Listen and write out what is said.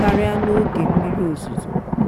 karịa n'oge mmiri ozuzo.